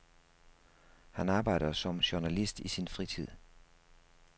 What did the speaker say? Han arbejder som journalist i sin fritid.